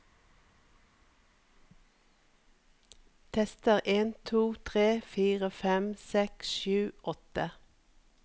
Tester en to tre fire fem seks sju åtte